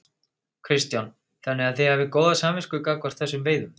Kristján: Þannig að þið hafið góða samvisku gagnvart þessum veiðum?